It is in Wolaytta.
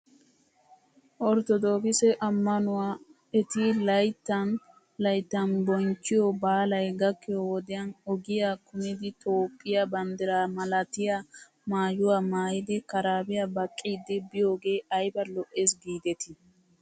Orttodookise amanuwan eti layttan layttan binchchiyoo baalay gakkiyoo wodiyan ogiyaa kumidi toophphiyaa banddiraa malatiyaa maayuwaa maayidi karaabiyaa baqqiiddi biyoogee ayba lo'es giidetii!